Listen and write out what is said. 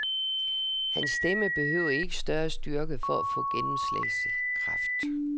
Hans stemme behøvede ikke større styrke for at få gennemslagskraft.